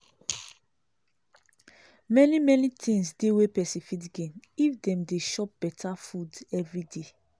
many many things dey wey pesin fit gain if dem dey chop beta food everyday